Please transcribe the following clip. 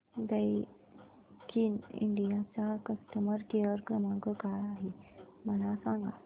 Daikin India चा customer care क्रमांक काय आहे मला सांगा